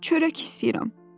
Çörək istəyirəm.